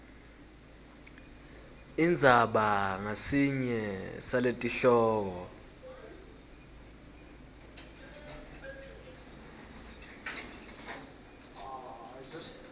indzaba ngasinye saletihloko